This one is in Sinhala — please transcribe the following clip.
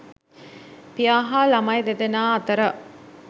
පියා හා ළමයි දෙදෙනා අතර